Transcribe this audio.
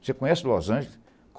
Você conhece Los Angeles?